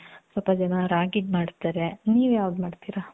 ಸ್ವಲ್ಪ ಜನ ರಾಗಿದ್ ಮಾಡ್ತಾರೆ ನೀವು ಯಾವದ್ ಮಾಡ್ತಿರ?